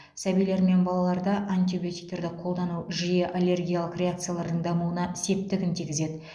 сәбилер мен балаларда антибиотиктерді қолдану жиі аллергиялық реакциялардың дамуына септігін тигізеді